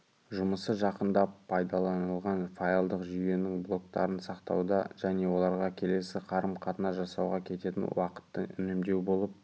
жұмысы жақында пайдаланылған файлдық жүйенің блоктарын сақтауда және оларға келесі қарым-қатынас жасауға кететін уақытты үнемдеу болып